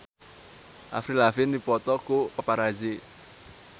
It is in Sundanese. Avril Lavigne dipoto ku paparazi